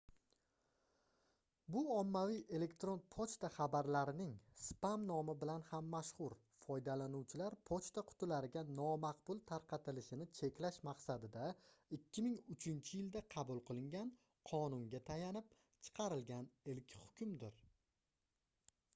bu ommaviy elektron pochta xabarlarining spam nomi bilan ham mashhur foydalanuvchilar pochta qutilariga nomaqbul tarqatilishini cheklash maqsadida 2003-yilda qabul qilingan qonunga tayanib chiqarilgan ilk hukmdir